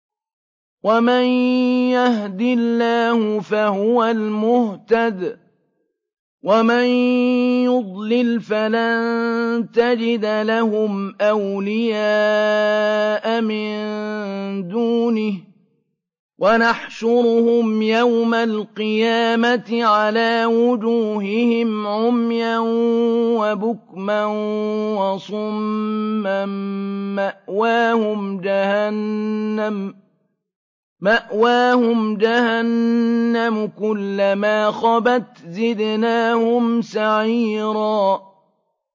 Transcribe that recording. وَمَن يَهْدِ اللَّهُ فَهُوَ الْمُهْتَدِ ۖ وَمَن يُضْلِلْ فَلَن تَجِدَ لَهُمْ أَوْلِيَاءَ مِن دُونِهِ ۖ وَنَحْشُرُهُمْ يَوْمَ الْقِيَامَةِ عَلَىٰ وُجُوهِهِمْ عُمْيًا وَبُكْمًا وَصُمًّا ۖ مَّأْوَاهُمْ جَهَنَّمُ ۖ كُلَّمَا خَبَتْ زِدْنَاهُمْ سَعِيرًا